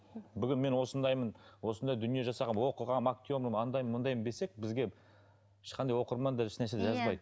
бүгін мен осындаймын осындай дүние жасағанмын оқығанмын актермін андаймын мындаймын десек бізге ешқандай оқырман даже еш нәрсе жазбайды иә